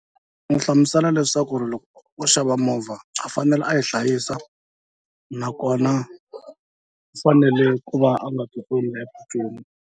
N'wi hlamusela leswaku ri loko u xava movha a fanele a yi hlayisa nakona u fanele ku va a nga ti .